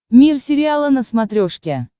мир сериала на смотрешке